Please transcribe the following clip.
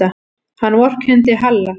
Hann vorkenndi Halla.